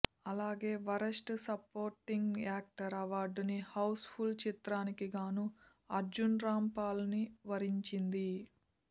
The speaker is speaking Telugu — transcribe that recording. అలాగే వరస్ట్ సపోర్టింగ్ యాక్టర్ అవార్డుని హౌస్ ఫుల్ చిత్రానికి గాను అర్జున్ రామ్ పాల్ ని వరించింది